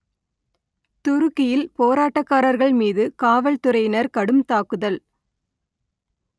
துருக்கியில் போராட்டக்காரர்கள் மீது காவல்துறையினர் கடும் தாக்குதல்